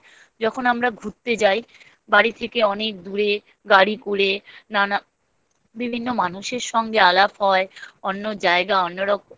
যদি আমাদের কখনো সুযোগ হয় যখন আমরা ঘুরতে যায় বাড়ি থেকে অনেক দূরে গাড়ি করে নানা বিভিন্ন মানুষের সঙ্গে আলাপ হয় অন্য জায়গা। অন্য রকম